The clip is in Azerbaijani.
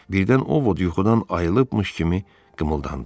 Birdən Ovod yuxudan ayılıbmış kimi qımıldandı.